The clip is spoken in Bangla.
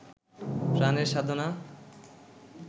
প্রাণের সাধনা